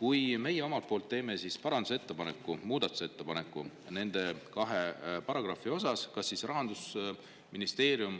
Kui me teeme nende kahe paragrahvi kohta parandusettepaneku, muudatusettepaneku, siis kas Rahandusministeerium